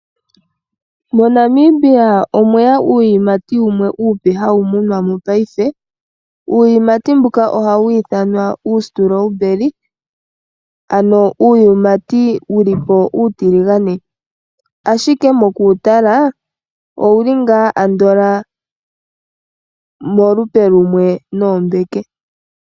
MoNamibia omweya uuyimati wumwe uupe hawu munwamo paife, uuyimati mbuka ohawu ithanwa uustrewberry, ano uuyimati wulipo uutiligane. Ashike mokuwutala owuli ngaa andola molupe lumwe noombeke.